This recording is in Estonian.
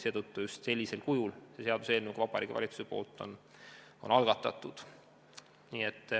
Seetõttu just sellisel kujul see seaduseelnõu Vabariigi Valitsusel ongi algatatud.